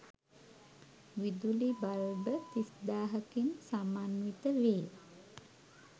විදුලි බල්බ 30000 කින් සමන්විත වේ.